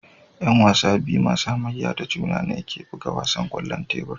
Yan wasa biyu masu hamayya da juna ne ke buga wasan kwallon tebur